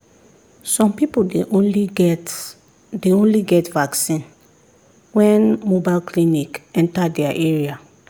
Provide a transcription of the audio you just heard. some people dey only get dey only get vaccine when mobile clinic enter their area.